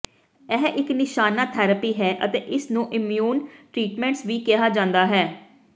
ਇਹ ਇਕ ਨਿਸ਼ਾਨਾ ਥੈਰੇਪੀ ਹੈ ਅਤੇ ਇਸਨੂੰ ਇਮਯੂਨ ਟ੍ਰੀਟਮੈਂਟਸ ਵੀ ਕਿਹਾ ਜਾਂਦਾ ਹੈ